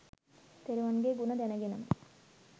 තෙරුවන්ගේ ගුණ දැනගෙනම